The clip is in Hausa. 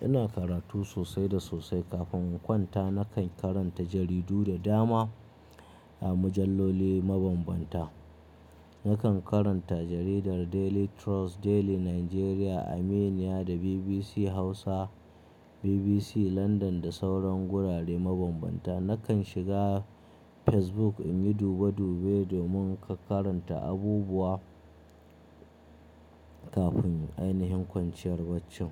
Ina karatu sosai da sosai. Kafin in kwanta nakan karanta jaridu da dama a mujalloli mabambanta. Nakan karanta jaridar Daily Trust, Daily Nigeria, Aminiya da BBC Hausa, BBC Landan da sauran gurare mabambanta. Nakan shiga Facebook in yi dube dube domin in karanta abubuwa kafin ainihin kwanciyar bacci.